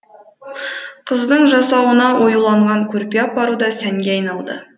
қыздың жасауына оюланған көрпе апару да сәнге айналды